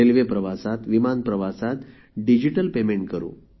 railway प्रवासात विमान प्रवासात डिजिटल पेमेंट करू